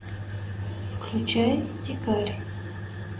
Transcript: включай дикарь